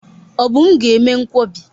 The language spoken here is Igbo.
Obum ga eme nkwobi.